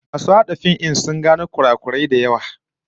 Masu hada fim din sun gano kurakurai da yawa